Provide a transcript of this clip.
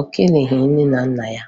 o keleghi nne na nna ya